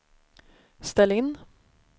ställ in